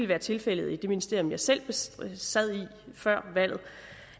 været tilfældet i det ministerium jeg selv sad i før valget